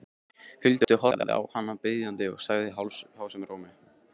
Huldu, horfði á hana biðjandi og sagði hásum rómi